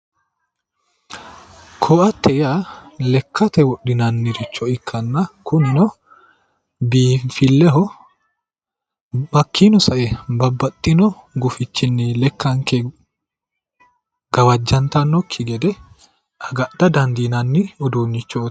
Koaatete yaa lekkate wodhinanniricho ikkanna kunino, biinfilleho hakkiinino sae babbaxxino gufichinnini lekkanke gawajjantannokki gede agadha dandiinanni uduunnichooti.